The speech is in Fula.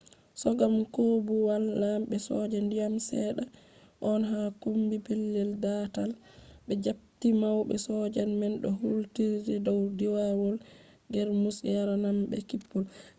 kogam koobuwal lambe soja diyam sedda on ha kommbi pellel daatal be japptii maube sojaji man do hultiri dow firawol germus yarananbe kippol